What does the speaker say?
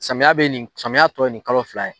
Samiya bɛ nin samiya tɔ ye nin kalo fila ye.